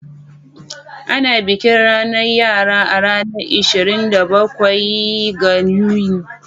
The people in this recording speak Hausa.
Ana bikin ranar yara a ranar ishirin da bakwai ga Yuni.